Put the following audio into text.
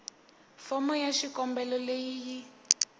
fomo ya xikombelo leyi yi